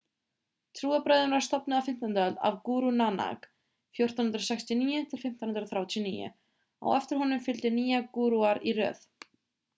trúarbrögðin var stofnuð á 15. öld af guru nanak 1469–1539. á eftir honum fylgdu nýju gúrúar í röð